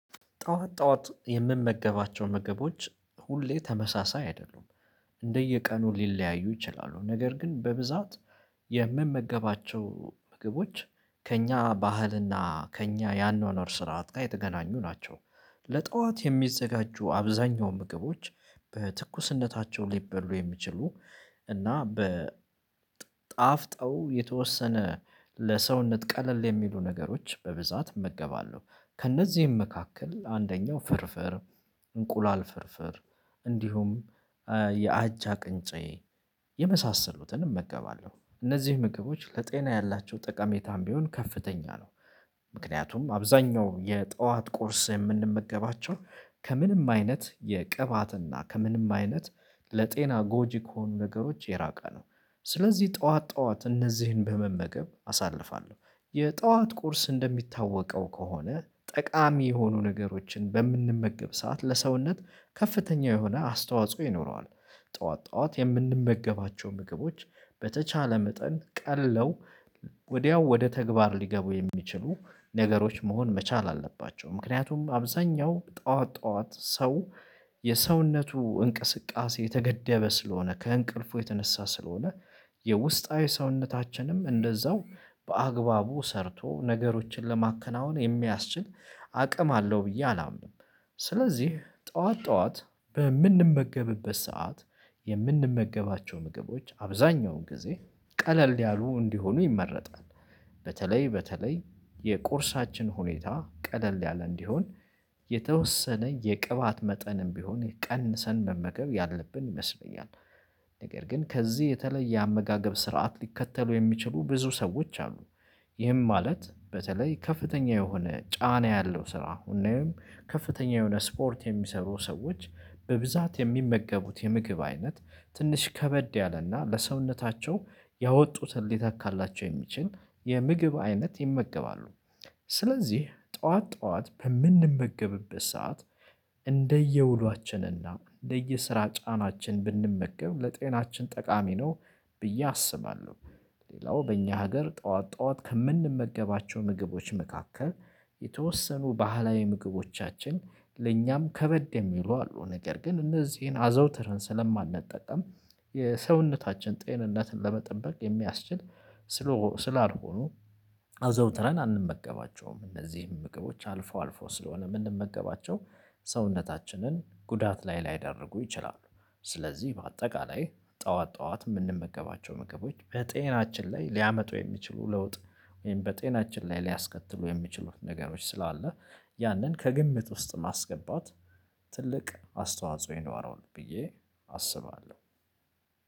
ጠዋት ጠዋት የምመገባቸው ምግቦች ሁሌ ተመሳሳይ አይደሉም። እንደየቀኑ ሊለያዩ ይችላሉ ነገር ግን በብዛት- የምመገባቸው ምግቦች ከእኛ ባህልና ከእኛ የአኗኗር ስርዓት ጋር የተገናኙ ናቸው። ለጠዋት የሚዘጋጁ አብዛኛው ምግቦች በትኩስነታቸው ሊበሉ የሚችሉ- እና በጣፍጠው የተወሰነ ለሰውነት ቀለል የሚሉ ነገሮች በብዛት እመገባለሁ። ከእነዚህም መካከል አንደኛው ፍርፍር: እንቁላል ፍርፍር እንዲሁም- የአጃ ቅንጬ የመሳሰሉትንም እመገባለሁ። እነዚህ ምግቦች ለጤና ያላቸው ጠቀሜታም ቢሆን ከፍተኛ ነው። ምክንያቱም አብዛኛው የጠዋት ቁርስ የምንመገባቸው ከምንም አይነት የቅባትና ከምንም አይነት- ለጤና ጎጂ ከሆኑ ነገሮች የራቀ ነው። ስለዚህ ጠዋት ጠዋት እነዚህን በመመገብ አሳልፋለሁ። የጠዋት ቁርስ እንደሚታወቀው ከሆነ ጠቃሚ የሆኑ ነገሮችን በምንመገብ ሰዓት ለሰውነት ከፍተኛ የሆነ አስተዋጽኦ ይኖረዋል። ጠዋት ጠዋት የምንመገባቸው ምግቦች በተቻለ መጠን ቀለው- ወዲያው ወደ ተግባር ሊገቡ የሚችሉ- ነገሮች መሆን መቻል አለባቸው። ምክንያቱም አብዛኛው ጠዋት ጠዋት ሰው የሰውነቱ እንቅስቃሴ የተገደበ ስለሆነ ከእንቅልፉ የተነሳ ስለሆነ የውስጣዊ ሰውነታችንም እንደዛው በአግባቡ ሰርቶ ነገሮችን ለማከናወን የሚያስችል አቅም አለው ብዬ አላምንም። ስለዚህ ጠዋት ጠዋት በምንመገብበት ሰዓት የምንመገባቸው ምግቦች አብዛኛውን ጊዜ ቀለል ያሉ እንዲሆኑ ይመረጣል። በተለይ በተለይ የቁርሳችን ሁኔታ ቀለል ያለ እንዲሆን የተወሰነ የቅባት መጠንም ቢሆን ቀንሰን መመገብ ያለብን ይመስለኛል። ነገር ግን ከዚህ የተለየ አመጋገብ ስርዓት ሊከተሉ የሚችሉ ብዙ ሰዎች አሉ። ይህም ማለት በተለይ ከፍተኛ የሆነ ጫና ያለው ስራ አሁን ወይም ከፍተኛ የሆነ ስፖርት የሚሰሩ ሰዎች በብዛት የሚመገቡት የምግብ አይነት ትንሽ ከበድ ያለና ለሰውነታቸው ያወጡትን ሊተካላቸው የሚችል የምግብ አይነት ይመገባሉ። ስለዚህ ጠዋት ጠዋት በምንመገብበት ሰዓት- እንደየውሏችን እና እንደየስራ ጫናችን ብንመገብ ለጤናችን ጠቃሚ ነው ብዬ አስባለሁ። ሌላው በእኛ ሀገር ጠዋት ጠዋት ከምንመገባቸው ምግቦች መካከል- የተወሰኑ ባህላዊ ምግቦቻችን ለእኛም ከበድ የሚሉ አሉ ነገር ግን እነዚህን አዘውትርን ስለማንጠቀም- የሰውነታችን ጤንነትን ለመጠበቅ የሚያስችል ስላልሆኑ- አዘውትረን አንመገባቸውም። እነዚህን ምግቦች አልፎ አልፎ ስለሆነ የምንመገባቸው ሰውነታችንን ጉዳት ላይ ላይዳርጉ ይችላሉ። ስለዚህ በአጠቃላይ ጠዋት ጠዋት የምንመገባቸው ምግቦች በጤናችን ላይ ሊያመጡ የሚችሉ ለውጥ ወይም በጤናችን ላይ ሊያስከትሉ የሚችሉ ነገሮች ስላለ ያንን ከግምት ውስጥ ማስገባት ትልቅ አስተዋጽኦ ይኖረዋል ብዬ አስባለሁ።